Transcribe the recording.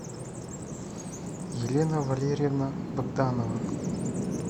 елена валерьевна богданова